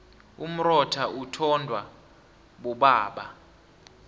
umrotha uthondwa bobaba